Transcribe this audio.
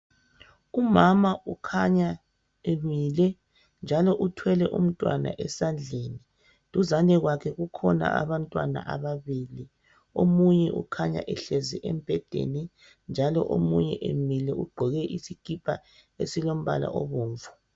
Umama ukhanya emile njalo uthwele umntwana esandleni duzane kwakhe kukhona abantwana ababili omunye ukhanya ehlezi embhedeni njalo omunye emile ugqoke isikipa esilombala obomvu.